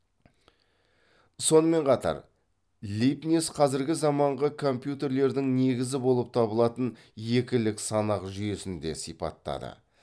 сонымен қатар лейбниц қазіргі заманғы компьютерлердің негізі болып табылатын екілік санақ жүйесін де сипаттады